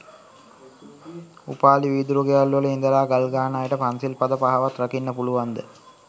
උපාලි වීදුරු ගෙවල් වල ඉදලා ගල්ගහන අයට පන්සිල් පද පහවත් රකින්න පුළුවන් ද?